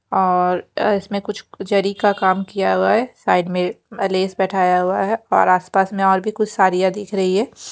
और अ इसमें कुछ ज़री का का काम किया हुआ है साइड में अ लेज़ बैठाया हुआ है और आस पास में और भी कुछ सारियाँ दिख रही हैं।